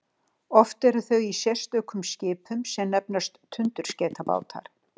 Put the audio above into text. oft eru þau í sérstökum skipum sem nefnast tundurskeytabátar